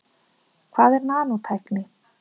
Hvað er nanótækni?